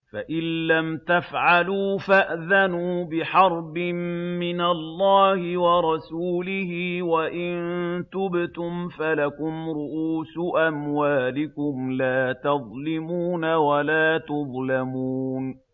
فَإِن لَّمْ تَفْعَلُوا فَأْذَنُوا بِحَرْبٍ مِّنَ اللَّهِ وَرَسُولِهِ ۖ وَإِن تُبْتُمْ فَلَكُمْ رُءُوسُ أَمْوَالِكُمْ لَا تَظْلِمُونَ وَلَا تُظْلَمُونَ